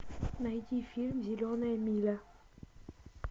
найди фильм зеленая миля